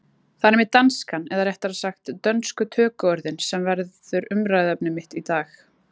Það er einmitt danskan, eða réttara sagt dönsku tökuorðin, sem verður umræðuefni mitt í dag.